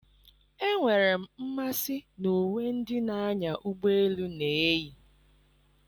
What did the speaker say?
Enwere m mmasị na uwe ndị na-anya ụgbọ elu na-eyi.